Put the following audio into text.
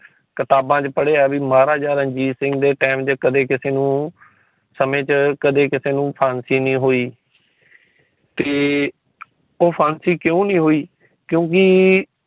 ਕਿਤਾਬਾਂ ਚ ਪੜੀਆਂ ਵੀ ਮਹਾਰਾਜਾ ਰਣਜੀਤ ਸਿੰਘ ਦੇ time ਚ ਕਦੇ ਕਿਸੇ ਨੂੰ ਸਮੇ ਚ ਕਦੇ ਕਿਸੇ ਨੂੰ ਫਾਂਸੀ ਨਹੀਂ ਹੋਈ। ਤੇ ਉਹ ਫਾਂਸੀ ਕਿਊ ਨਹੀਂ ਹੋਇ ਕਿਊਕਿ